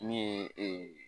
Min ye ee.